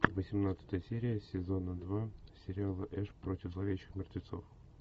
восемнадцатая серия сезона два сериала эш против зловещих мертвецов